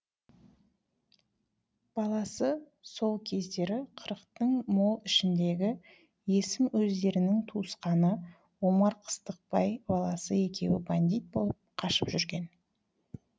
баласы сол кездері қырықтың мол ішіндегі есім өздерінің туысқаны омар қыстықбай баласы екеуі бандит болып қашып жүрген